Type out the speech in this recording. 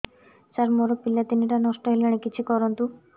ସାର ମୋର ପିଲା ତିନିଟା ନଷ୍ଟ ହେଲାଣି କିଛି କରନ୍ତୁ